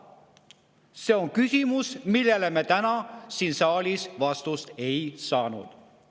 See on küsimus, millele me täna siin saalis vastust ei saanud.